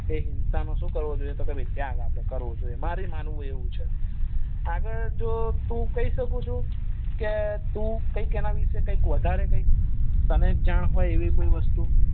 એ હિંસા નો શું કરવું જોઈએ કે આપડે મારી માનવું એવું છે આગળ જો તું કઈ શક્યું છું કે તું કઈક એના વિષે કઈ વધારે કઈક તને જાણ હોય એવી કોઈ વસ્તુ